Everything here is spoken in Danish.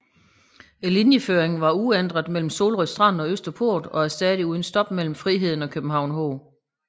Linjeføringen var dog uændret mellem Solrød Strand og Østerport og stadig uden stop mellem Friheden og København H